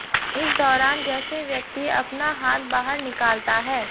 इस दौरान जैसे व्यक्ति अपना हाथ बाहर निकालता है